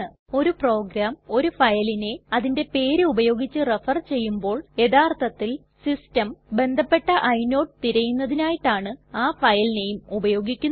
ഒരു പ്രോഗ്രാം ഒരു ഫയലിനെ അതിന്റെ പേര് ഉപയോഗിച്ച് റെഫർ ചെയ്യുമ്പോൾ യഥാർത്ഥത്തിൽ സിസ്റ്റം ബന്ധപ്പെട്ട ഇനോട് തിരയുന്നതിനായിട്ടാണ് ആ ഫയൽ നെയിം ഉപയോഗിക്കുന്നത്